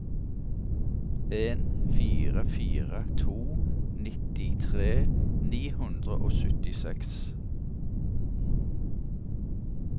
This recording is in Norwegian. en fire fire to nittitre ni hundre og syttiseks